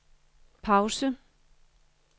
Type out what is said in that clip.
pause